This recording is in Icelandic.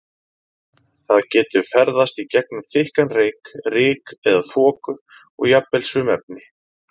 Það getur ferðast í gegnum þykkan reyk, ryk eða þoku og jafnvel sum efni.